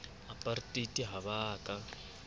apartheid ha ba a ka